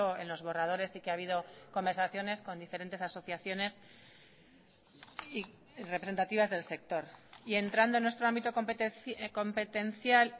en los borradores y que ha habido conversaciones con diferentes asociaciones representativas del sector y entrando en nuestro ámbito competencial